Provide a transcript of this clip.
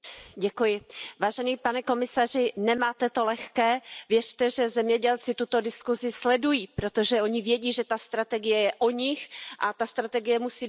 Pane předsedající, pane komisaři, nemáte to lehké, věřte, že zemědělci tuto diskuzi sledují, protože oni vědí, že ta strategie je o nich, a ta strategie musí být pro ně.